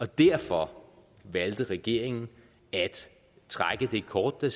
derfor valgte regeringen at trække det kort der